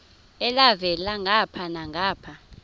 elhavela ngapha nangapha